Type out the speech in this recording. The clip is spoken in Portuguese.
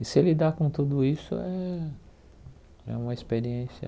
E se ele dá com tudo isso, é é uma experiência...